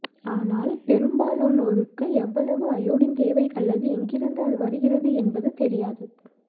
ஆனால் பெரும்பாலோனோருக்கு எவ்வளவு அயோடின் தேவை அல்லது எங்கிருந்து அது வருகிறது என்பது தெரியாது